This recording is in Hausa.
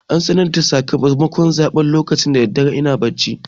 An sanar da sakamakon zaɓen da daddare lokacin ina bacci.